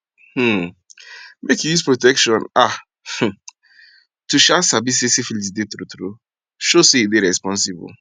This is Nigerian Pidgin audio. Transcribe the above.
um make you use protection ah um to um sabi say syphilis dey true true show say you dey responsible